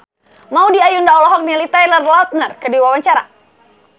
Maudy Ayunda olohok ningali Taylor Lautner keur diwawancara